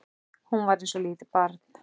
Hún var eins og lítið barn.